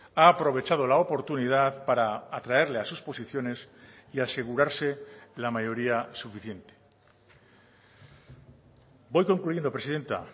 ha aprovechado la oportunidad para atraerle a sus posiciones y asegurarse la mayoría suficiente voy concluyendo presidenta